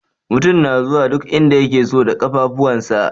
Mutum na zuwa duk inda yake so da ƙafafuwansa.